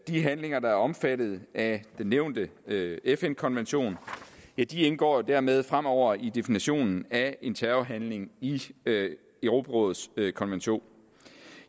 de handlinger der er omfattet af den nævnte fn konvention indgår dermed fremover i definitionen af en terrorhandling i europarådets konvention